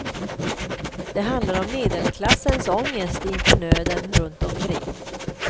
Den handlar om medelklassens ångest inför nöden runt omkring.